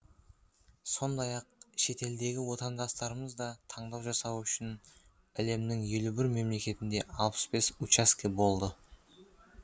сондай ақ шетелдегі отандастарымыз да таңдау жасауы үшін әлемнің елу бір мемлекетінде алпыс бес учаске болды